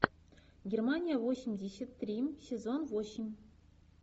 германия восемьдесят три сезон восемь